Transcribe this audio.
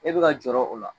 E bɛ ka jɔrɔ o la